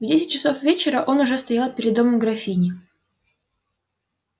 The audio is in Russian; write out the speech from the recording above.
в десять часов вечера он уж стоял перед домом графини